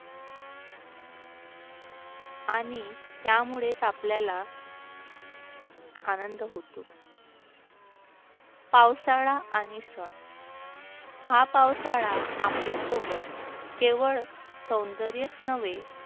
आणि त्यामुळेच आपल्याला आनंद होतो. पावसाळा आणि सण. हा पावसाळा आपल्यासोबत केवळ सौंदर्यच नव्हे